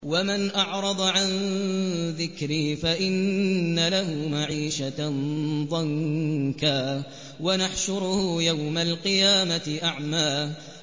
وَمَنْ أَعْرَضَ عَن ذِكْرِي فَإِنَّ لَهُ مَعِيشَةً ضَنكًا وَنَحْشُرُهُ يَوْمَ الْقِيَامَةِ أَعْمَىٰ